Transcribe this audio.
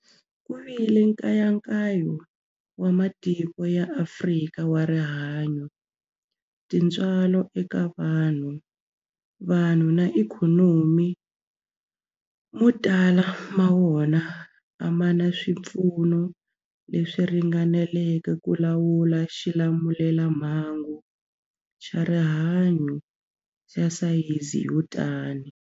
Ku vile nkayakayo wa matiko ya Afrika wa rihanyu, tintswalo eka vanhu, vanhu na ikhonomi, mo tala ma wona a ma na swipfuno leswi ringaneleke ku lawula xilamulelamhangu xa rihanyu xa sayizi yo tani.